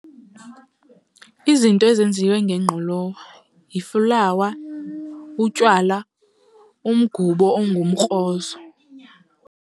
Izinto ezenziwe ngengqolowa yiflawa, utywala, umgubo ongumkrozo.